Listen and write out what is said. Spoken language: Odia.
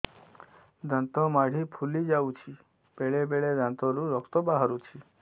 ଦାନ୍ତ ମାଢ଼ି ଫୁଲି ଯାଉଛି ବେଳେବେଳେ ଦାନ୍ତରୁ ରକ୍ତ ବାହାରୁଛି